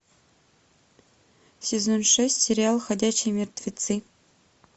сезон шесть сериал ходячие мертвецы